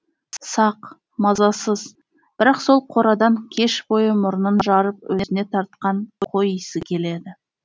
сақ мазасыз бірақ сол қорадан кеш бойы мұрнын жарып өзіне тартқан қой исі келеді